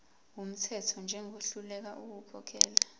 wumthetho njengohluleka ukukhokhela